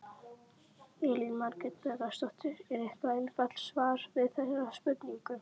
Elín Margrét Böðvarsdóttir: Er eitthvað einfalt svar við þeirri spurningu?